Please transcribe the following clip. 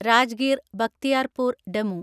Rajgir Bakhtiyarpur DEMU